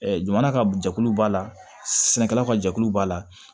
jamana ka jɛkulu b'a la sɛnɛkɛlaw ka jɛkulu b'a la